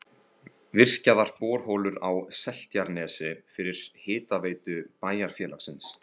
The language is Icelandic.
Virkjaðar borholur á Seltjarnarnesi fyrir hitaveitu bæjarfélagsins.